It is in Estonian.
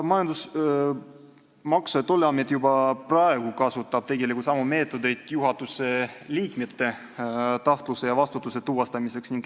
Maksu- ja Tolliamet kasutab juba praegu samu meetodeid juhatuse liikmete tahtluse ja vastutuse tuvastamiseks.